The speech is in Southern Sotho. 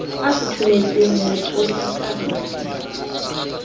a futhumetseng ho tola ka